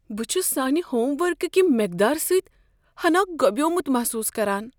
بہٕ چھس سانہ ہوم ورک کِہ مقدارٕ سۭتۍ ہناہ گۄبیومت محسوس کران۔